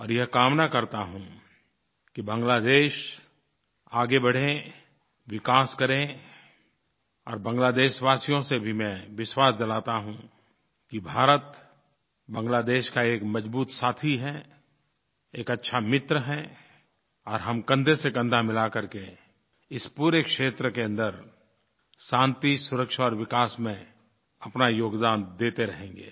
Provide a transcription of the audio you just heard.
और यह कामना करता हूँ कि बांग्लादेश आगे बढ़े विकास करे और बांग्लादेशवासियों को भी मैं विश्वास दिलाता हूँ कि भारत बांग्लादेश का एक मज़बूत साथी है एक अच्छा मित्र है और हम कंधेसेकंधा मिला करके इस पूरे क्षेत्र के अन्दर शांति सुरक्षा और विकास में अपना योगदान देते रहेंगे